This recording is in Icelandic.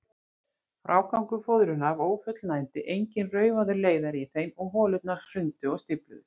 Frágangur fóðrunar var ófullnægjandi, enginn raufaður leiðari í þeim, og holurnar hrundu og stífluðust.